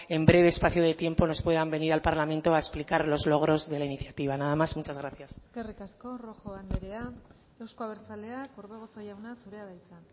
en breve espacio de tiempo nos puedan venir al parlamento a explicar los logros de la iniciativa nada más muchas gracias eskerrik asko rojo andrea euzko abertzaleak orbegozo jauna zurea da hitza